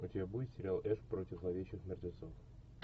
у тебя будет сериал эш против зловещих мертвецов